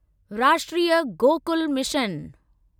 राष्ट्रीय गोकुल मिशन